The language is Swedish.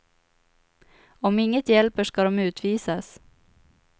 Om inget hjälper ska de utvisas.